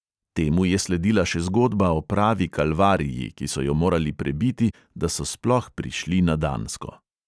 Temu je sledila še zgodba o pravi kalvariji, ki so jo morali prebiti, da so sploh prišli na dansko.